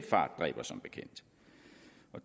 fart dræber som bekendt